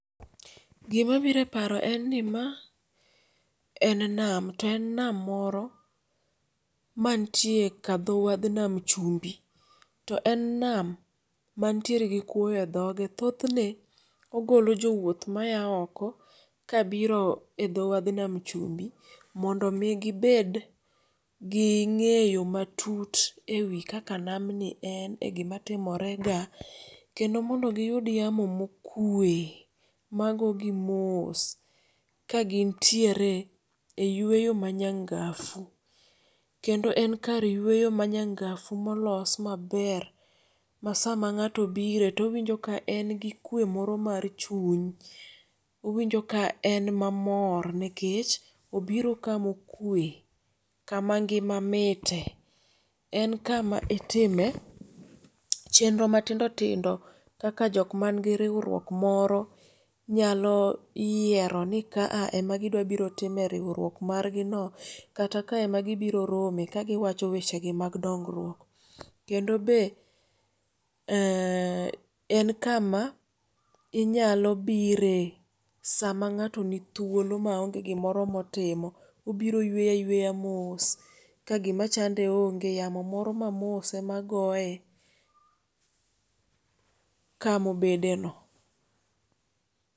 Gima biro eparo en ni ma en nam to en nam moro mantie kadhowadh nam chumbi. To en nam mantiere gi kuoyo edhoge. Thothne ogolo jowuoth maya oko kabiro edho wadh nam chumbi mondo mi gibed gi ng'eyo matut ewi kaka namni en egima timorega. Kendo mondo giyud yamo mokue magogi mos ka gintiere eyweyo manyangafu kendo en kar yweyo manyangafu molos maber masama ng'ato bire towinjo ka en gi kwe moro mar chuny. Owinjo ka en mamor nikech obiro kama okwe kama ngima mite. En kama itime chenro matindo tindo kaka jok mangi riwruok moro nyalo yieroni ka a ema gidwa biro timo riwruok margino kata ka ema gibiro rome kagi wacho weche mag dongruok. Kendo be ee en kama inyalo bire sama ng'ato ni thuolo ma onge gimoro motimo obiro yweyo ayweya mos. Kagima chande onge yamo moro mamos ema goye kamobedeno.